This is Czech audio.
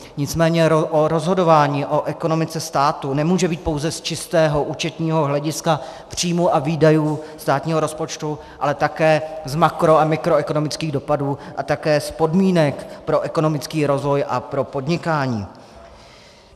Nicméně rozhodování o ekonomice státu nemůže být pouze z čistého účetního hlediska příjmů a výdajů státního rozpočtu, ale také z makro- a mikroekonomických dopadů a také z podmínek pro ekonomický rozvoj a pro podnikání.